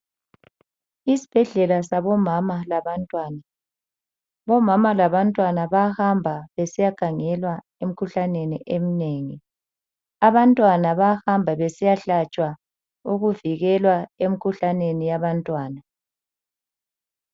Isibhedlela sabomama labantwana. Bomama labantwana bayahamba besiyakhangelwa emikhuhlaneni eminengi. Abantwana bayahamba besiyahlatshwa ukuvikela emikhuhlaneni yabantwana.